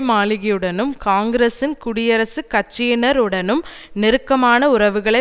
மாளிகையுடனும் காங்கிரசின் குடியரசுக் கட்சியினருடனும் நெருக்கமான உறவுகளை